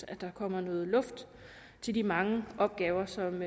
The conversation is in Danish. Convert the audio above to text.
at der kommer noget luft til de mange opgaver som